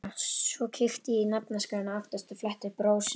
Svo ég kíkti í nafnaskrána aftast og fletti upp Rósu.